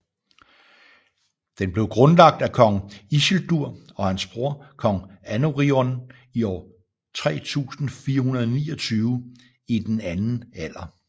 Den blev grundlagt af kong Isildur og hans bror kong Anarion i år 3429 i den Anden Alder